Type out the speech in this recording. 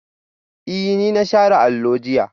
Ee, na share allon jiya